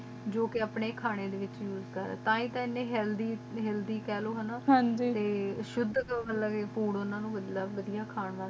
ਜੋ ਕ ਅਪਨੇ ਖਾਨੇ ਦੇ ਵਿਚ ਉਸੇ ਕਰਦੀ ਹੇਲ੍ਥ੍ਯ ਤਾ ਹੀ ਤਾ ਏਨੇ ਹੇਆਲ੍ਥ੍ਯ ਹੇਆਲ੍ਥ੍ਯ ਕੇ ਲੋ